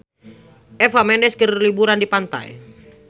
Eva Mendes keur liburan di pantai